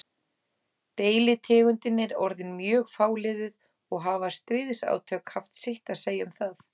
Deilitegundin er orðin mjög fáliðuð og hafa stríðsátök haft sitt að segja um það.